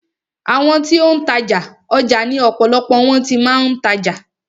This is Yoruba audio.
Àwọn ti ó ń tajà, ọjà ni ọ̀pọ̀lọpọ̀ wọn ti máa ń tajà.